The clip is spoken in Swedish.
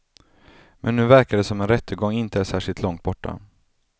Men nu verkar det som om en rättegång inte är särskilt långt borta.